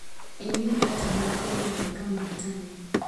Ĩ nĩ ngwatanĩro ĩgũtwĩka mũhotani.